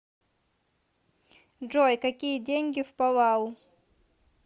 джой какие деньги в палау